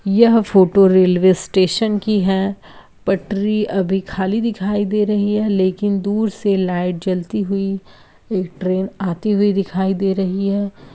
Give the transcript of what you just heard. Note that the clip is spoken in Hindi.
यह फोटो रेलवे स्टेशन की है। पटरी अभी खाली दिखाई दे रही है लेकिन दूर से लाइट जलती हुई एक ट्रेन आती हुई दिखाई दे रही है।